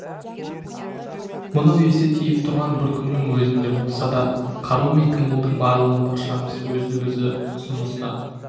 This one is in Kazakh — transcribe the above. мынау есе тиіп тұрған бір күннің өзінде болса да қару мен қимылдың барлығын баршамыз өзді-өзі тұсымыздан